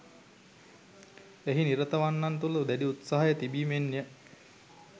එහි නිරතවන්නන් තුළ දැඩි උත්සාහය තිබීමෙන්ය